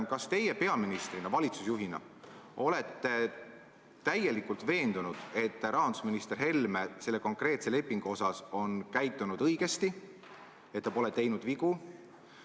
Kas teie peaministrina, valitsusjuhina olete täielikult veendunud, et rahandusminister Helme on selle konkreetse lepingu osas käitunud õigesti, et ta pole teinud vigu?